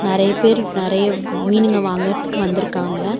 நெறைய பேர் நெறைய மீனுங்க வாங்குறதுக்கு வந்துருக்காங்க.